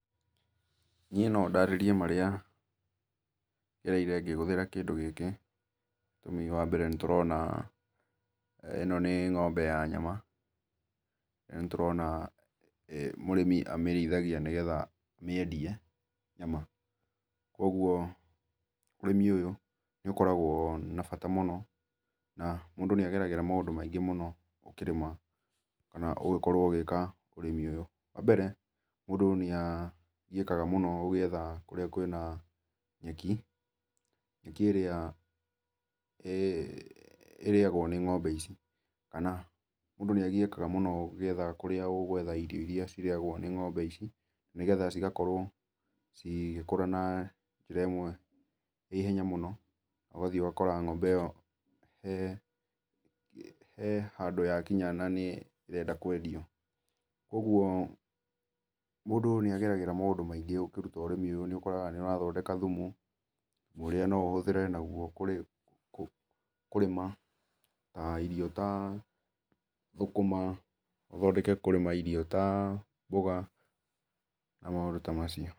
Niĩ no ndarĩrie marĩa ngereĩre ngĩhũthĩra kĩndũ gĩkĩ, wambere nĩ tũrona ĩno nĩ ng'ombe ya nyama na nĩ tũrona [eeh]mũrĩmi amĩrĩithagia nĩgetha amĩendie nyama kwogũo ũrĩmĩ ũyũ nĩ ũkoragwo na bata mũnona mũndũ nĩageragĩra maũndũ maingĩ mũno ũkĩrĩma kana ũgĩkorwo ũgĩka ũrĩmi ũyũ wambere mũndũ nĩagiĩkaga mũno agĩetha kũrĩa kwĩna nyeki, nyeki ĩrĩa ĩ ĩrĩrĩagwo nĩ ng'ombe ici kana mũndũ nĩagiĩkaga mũno agĩetha kũrĩa ũgwetha irio ĩrĩa ĩrĩagwo nĩ ng'ombe ici nĩgetha cigakorwo cigĩkũra na njĩra ĩmwe na ihenya mũno ũgathiĩ ũgakora ng'ombe ĩyo he he handũ yakinya na nĩ ĩrenda kwendio, kũogũo mũndũ nĩageragĩra maũndũ maingĩ ũkĩrũta ũrĩmi ũyũ nĩ ũkoraga nĩ ũrathondeka thũmũ, thũmũ ũrĩa no ũhũthĩre nagũo kũrĩ kũrĩma ta ĩrio ta thũkũma ũthondeke kũrĩma irio ta mbũga na maũndũ ta macio.